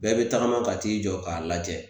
Bɛɛ bɛ tagama ka t'i jɔ k'a lajɛ